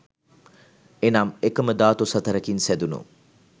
එනම් එකම ධාතු සතරකින් සැදුණු